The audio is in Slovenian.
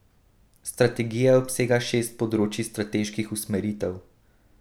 Strategija obsega šest področij strateških usmeritev.